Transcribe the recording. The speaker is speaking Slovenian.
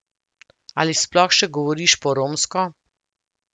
Ali sploh še govoriš po romsko?